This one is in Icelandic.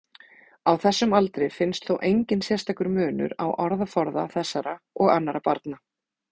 Á þessum aldri finnst þó enginn sérstakur munur á orðaforða þessara og annarra barna.